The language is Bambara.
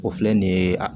O filɛ nin ye a